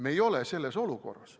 Me ei ole selles olukorras.